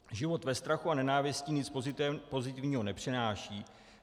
Život ve strachu a nenávisti nic pozitivního nepřináší.